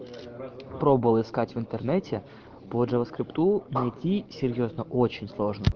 пробовала искать в интернете по джава скрипту найти серьёзно очень сложно